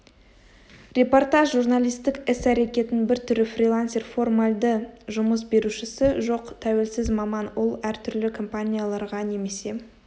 репортаж журналистік іс-әрекеттің бір түрі фрилансер формальды жұмыс берушісі жоқ тәуелсіз маман ол әртүрлі компанияларға немесе